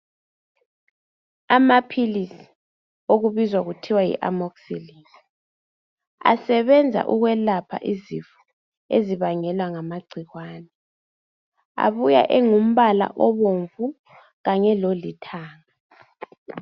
Amaphilisi okubizwa kuthiwa yiamoxilini asebenza ukwelapha izifo ezibangelwa ngamagcikwane. Abuya engumbala obomvu kanye lolithanga.